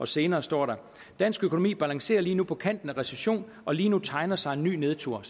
senere står der dansk økonomi balancerer lige nu på kanten af recession og lige nu tegner sig en ny nedtur